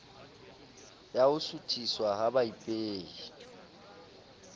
ya ho suthiswa ha baipehi